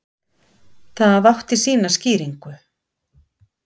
Það átti sína skýringu.